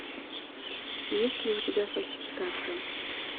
есть ли у тебя фальсификация